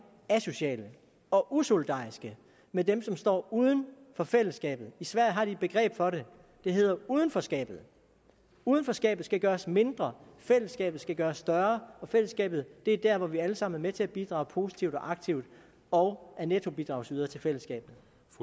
asociale og usolidariske med dem som står uden for fællesskabet i sverige har de et begreb for det der hedder udenforskabet udenforskabet skal gøres mindre fællesskabet skal gøres større og fællesskabet er der hvor vi alle sammen er med til at bidrage positivt og aktivt og er nettobidragsydere til fællesskabet